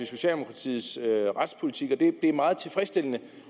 socialdemokratiets retspolitik og det er meget tilfredsstillende det